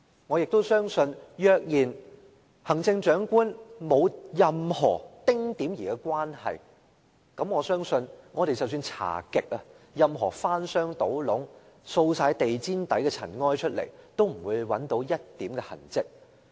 我也相信，若然行政長官在這件事情上沒有任何丁點兒的關係，無論我們怎樣調查，翻箱倒篋，把地氈下的塵埃盡掃出來，都不會找到一點痕跡。